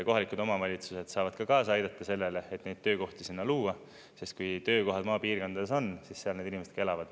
Kohalikud omavalitsused saavad ka kaasa aidata sellele, et neid töökohti sinna luua, sest kui töökohad maapiirkondades on, siis seal need inimesed ka elavad.